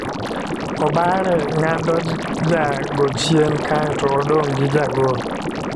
Obare ng'ado ja go chien kae to odong' gi ja gol.